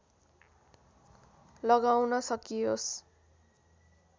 लगाउन सकियोस्